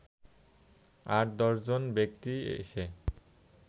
আট/দশজন ব্যক্তি এসে